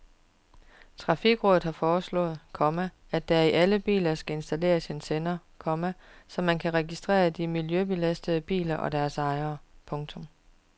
Trafikrådet har foreslået, komma at der i alle biler skal installeres en sender, komma så man kan registrere de miljøbelastende biler og deres ejere. punktum